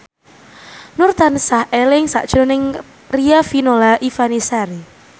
Nur tansah eling sakjroning Riafinola Ifani Sari